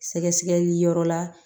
Sɛgɛsɛgɛli yɔrɔ la